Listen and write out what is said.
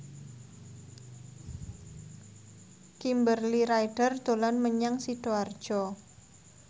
Kimberly Ryder dolan menyang Sidoarjo